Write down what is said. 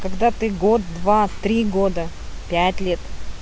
когда ты год два три года пять лет